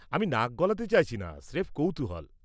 আমি নাক গলাতে চাইছি না, স্রেফ কৌতূহল।